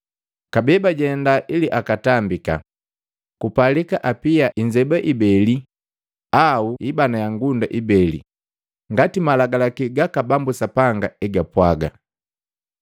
Kabee bajenda ili akatambika, kupalika apia inzeba ibele au ibana ya ngunda ibeli, ngati Malagalaki gaka Bambu Sapanga egapwaga.